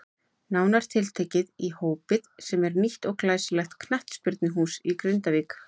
Nánar tiltekið í Hópið sem er nýtt og glæsilegt knattspyrnuhús í Grindavík.